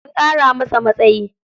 An ƙara masa matsayi.